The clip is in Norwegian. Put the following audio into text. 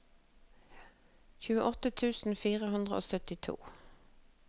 tjueåtte tusen fire hundre og syttito